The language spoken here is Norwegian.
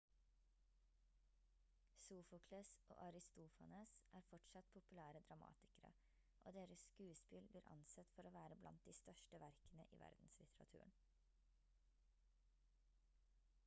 sofokles og aristofanes er fortsatt populære dramatikere og deres skuespill blir ansett for å være blant de største verkene i verdenslitteraturen